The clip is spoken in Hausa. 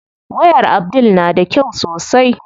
Wayar Abdul na da kyau sosai.